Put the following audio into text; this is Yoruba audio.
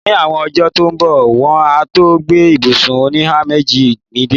Ní àwọn ọjọ́ tó ń bọ̀, wọ́n á tó gbé ibùsùn oníhàméjì mi dé.